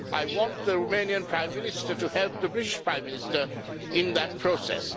I want the Romanian Prime Minister to help the British Prime Minister in that process.